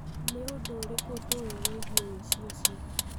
Nĩ ũndũ ũrĩkũ tũĩ wĩgiĩ ũici ũcio?